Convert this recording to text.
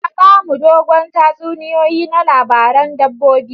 Ta ba mu dogon tatsuniyoyi na labaran dabbobi.